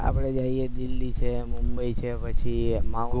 આપણે જઈએ દિલ્લી છે મુબંઈ છે પછી mount આબુ છે